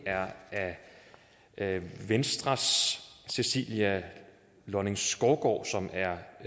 er af venstres cecilia lonning skovgaard hun er